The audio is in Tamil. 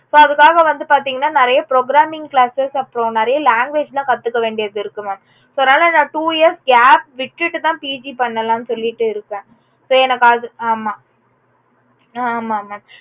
so அதுக்காக வந்து பாத்தீங்க அப்புடின்னா நிறைய programming classes அப்புறம் நிறைய language லாம் கத்துக்க வேண்டியது இருக்கும் mam so. அதுனால இந்த two years gap விட்டுட்டு தா PG பண்ணலாம்னு சொல்லிட்டு இருக்கேன் so எனக்கு அதுக்கு ஆமாம் அஹ் ஆமாங்க